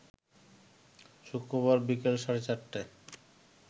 শুক্রবার বিকেল সাড়ে ৪টায়